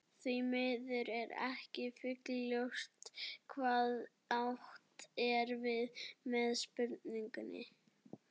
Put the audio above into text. því miður er ekki fullljóst hvað átt er við með spurningunni